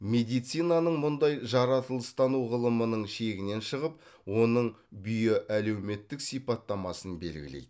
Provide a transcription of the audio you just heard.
медицинаның мұндай жаратылыстану ғылымының шегінен шығып оның биоәлеуметтік сипаттамасын белгілейді